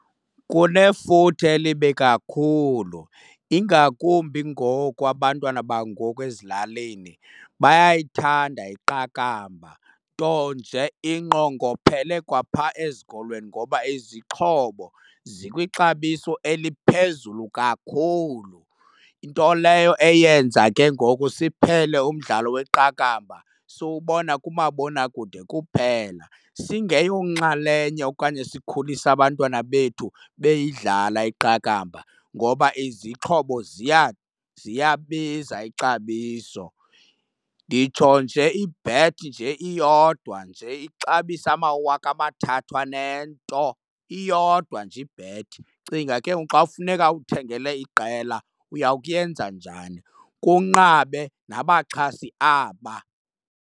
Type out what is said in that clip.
Kunefuthe elibi kakhulu ingakumbi ngoku abantwana bangoku ezilalini bayayithanda iqakamba, nto nje ingqongophele kwa pha ezikolweni ngoba izixhobo zikwixabiso eliphezulu kakhulu. Into leyo eyenza ke ngoku siphele umdlalo weqakamba siwubona kumabonakude kuphela singeyonxalenye okanye sikhulise abantwana bethu beyidlala iqakamba ngoba izixhobo ziyabiza ixabiso. Nditsho nje ibhethi nje iyodwa nje ixabise amawaka amathathu anento, iyodwa nje ibhethi. Cinga ke ngoku xa kufuneka uthengele iqela, uya kuyenza njani? Kunqabe nabaxhasi aba.